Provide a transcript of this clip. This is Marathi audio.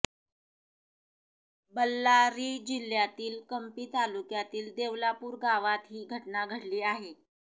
बळ्ळारी जिल्हय़ातील कंम्पी तालुक्यातील देवलापूर गावात ही घटना घडली आहे